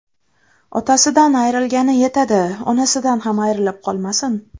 Otasidan ayrilgani yetadi, onasidan ham ayrilib qolmasin.